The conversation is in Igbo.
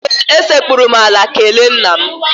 Ee, esekpuru m ala kelee nna m.